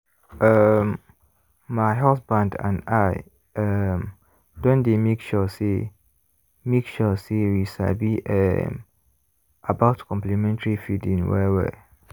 um my husband and i um don dey make sure say make sure say we sabi um about complementary feeding well-well.